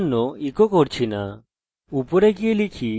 আমার বানানো error reporting tutorial দেখুন যদি না দেখে থাকেন